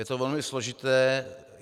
Je to velmi složité.